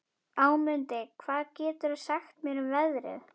Ámundi, hvað geturðu sagt mér um veðrið?